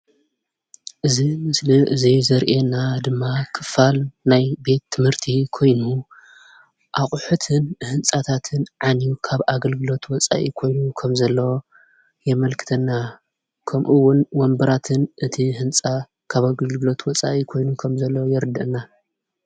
እዚ ምስሊ እዚ ዘርእየና ድማ ክፋል ናይ ቤት ትምህርቲ ኮይኑ ኣቑሕትን ህንፃታትን ዓንዩ ካብ ኣገልግሎት ወፃኢ ኮይኑ ከምዘሎ የመልክተና፡፡ ከምኡውን ወንበራትን እቲ ህንፃ ካብ ኣገልግሎት ወፃኢ ኮይኑ ከምዘሎ የረደአና፡፡